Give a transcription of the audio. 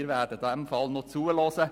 Wir werden der Debatte zuhören.